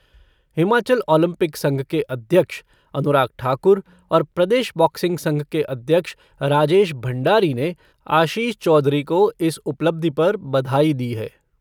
Himachal Olympic संघ के अध्यक्ष अनुराग ठाकुर और प्रदेश बॉक्सिंग संघ के अध्यक्ष राजेश भंडारी ने आशीष चौधरी को इस उपलब्धि पर बधाई दी है।